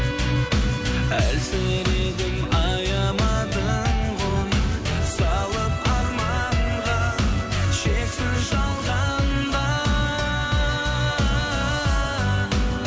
әлсіредім аямадың ғой салып арманға шексіз жалғанда